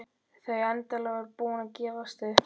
Þau endanlega búin að gefast upp.